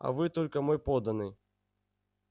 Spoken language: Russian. а вы только мой подданный